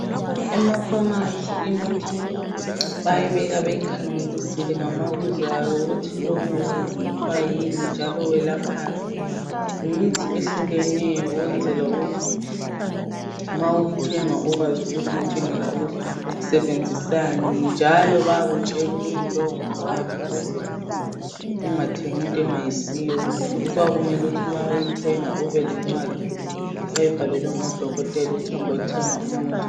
Emakhemisi imithi bayayibeka beyikhangelisile ngamabizo ayo ukuthi lo kuthiwa yini njalo welaphani. Yimithi ehlukeneyo ukwenzela ukuthi ma uwuthenga ukwazi ukuthi uthengela ukusebenzisani njalo bayakutshela ukuthi lowu ngowani ukuze ungathengi into engayisiyo futhi kuyabe kumele ukuthi nxa uthenga ube lencwadi oyibhalelwe ngodokotela ukuthi hamba uyethenga umuthi.